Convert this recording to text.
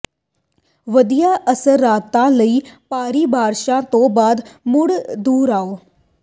ਵਧੀਆ ਅਸਰਦਾਰਤਾ ਲਈ ਭਾਰੀ ਬਾਰਸ਼ਾਂ ਤੋਂ ਬਾਅਦ ਮੁੜ ਦੁਹਰਾਓ